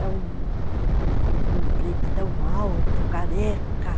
É um pretão alto, careca.